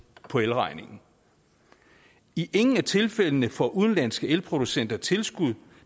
på elregningen i ingen af tilfældene får udenlandske elproducenter tilskud